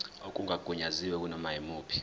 okungagunyaziwe kunoma yimuphi